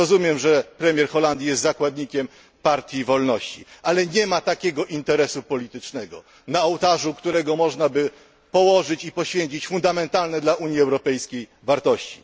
Rozumiem, że premier Holandii jest zakładnikiem Partii Wolności, ale nie ma takiego interesu politycznego, na ołtarzu którego można by położyć i poświęcić fundamentalne dla Unii Europejskiej wartości.